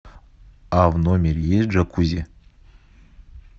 а в номере есть джакузи